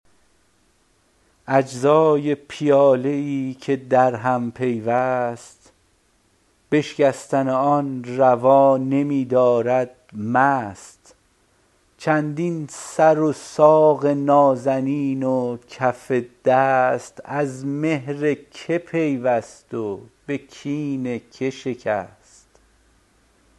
اجزای پیاله ای که درهم پیوست بشکستن آن روا نمی دارد مست چندین سر و ساق نازنین و کف دست از مهر که پیوست و به کین که شکست